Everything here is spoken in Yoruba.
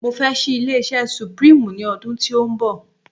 mo fẹ ṣi ilé iṣẹ supreme ni odun ti o nbọ